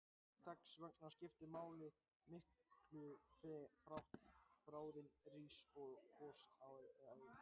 Þess vegna skiptir það miklu hve hratt bráðin rís upp gosrásina.